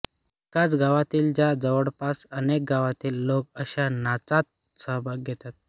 एकाच गावातील वा जवळपासच्या अनेक गावांतील लोक अश्या नाचात सहभाग घेतात